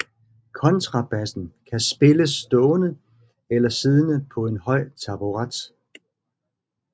Kontrabassen kan spilles stående eller siddende på en høj taburet